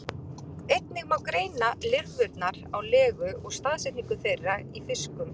einnig má greina lirfurnar á legu og staðsetningu þeirra í fiskum